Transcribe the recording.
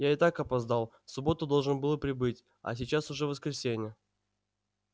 я и так опоздал в субботу должен был прибыть а сейчас уже воскресенье